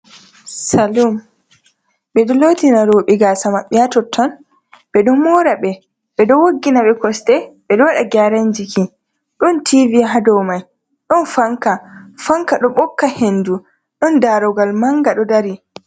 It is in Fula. Saloon: ɓedo lotina roɓe gasa ma66e ha ha totton, ɓedo mora ɓe, ɓe do woggina himɓe kosde, bedo wada geran jiki, don TV ha dou mai, don fanka; fanka do bokka hendu. don darugal manga do dari.